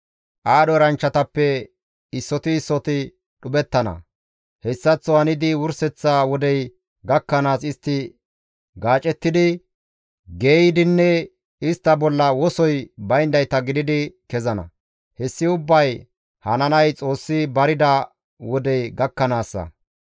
Aadho eranchchatappe issoti issoti dhuphettana; hessaththo hanidi wurseththa wodey gakkanaas istti gacettidi, geeyidinne istta bolla wosoy bayndayta gididi kezana; hessi ubbay hananay Xoossi barida wodey gakkanaassa.